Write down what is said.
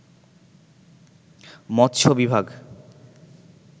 মৎস্য বিভাগ